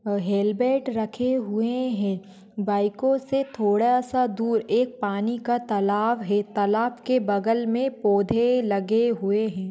आ helmet रखे हुए है बाईको से थोड़ासा दूर एक पानी का तलाव है तलाव के बगल मे पोधे लगे हुए है।